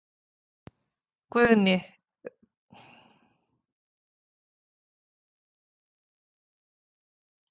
Guðný: Verða Ágúst og Lýður settir í farbann?